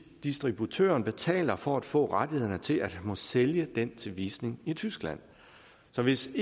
distributøren betaler for at få rettighederne til at måtte sælge den til visning i tyskland så hvis